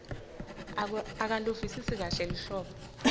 akaluvisisi kahle luhlobo